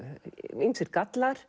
ýmsir gallar